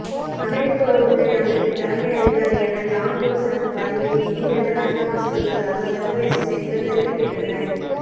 அமெரிக்க உளவுத்துறை அமைப்பின் தலைமை அதிகாரியான டான் கோட்ஸ் தனது பதவியை திடீரென இராஜினாமா செய்துள்ளதாக சர்வதேச செய்திகள் தெரிவிக்கின்றன